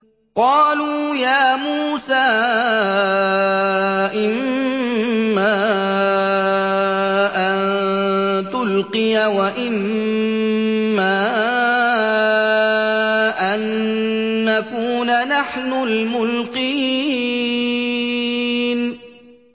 قَالُوا يَا مُوسَىٰ إِمَّا أَن تُلْقِيَ وَإِمَّا أَن نَّكُونَ نَحْنُ الْمُلْقِينَ